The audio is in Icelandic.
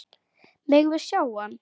Megum við sjá hann!